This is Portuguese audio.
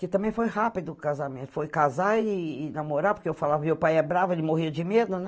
Que também foi rápido o casamento, foi casar e e namorar, porque eu falava, meu pai é bravo, ele morria de medo, né?